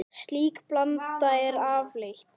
Slík blanda er afleit.